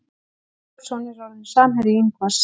Emil Pálsson er orðinn samherji Ingvars.